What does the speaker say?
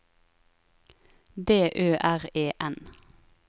D Ø R E N